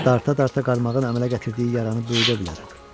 Darta-darta qarmağın əmələ gətirdiyi yaranı böyüdə bilərəm.